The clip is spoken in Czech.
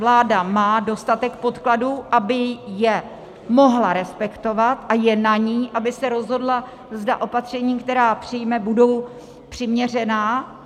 Vláda má dostatek podkladů, aby je mohla respektovat, a je na ní, aby se rozhodla, zda opatření, která přijme, budou přiměřená.